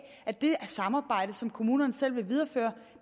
at det samarbejde som kommunerne selv vil videreføre